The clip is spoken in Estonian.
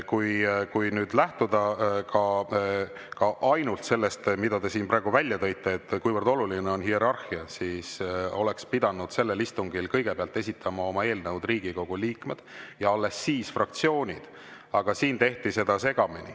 Kui lähtuda ainult sellest, mida te siin praegu välja tõite, kuivõrd oluline on hierarhia, siis oleks pidanud sellel istungil kõigepealt esitama oma eelnõud Riigikogu liikmed ja alles siis fraktsioonid, aga siin tehti seda segamini.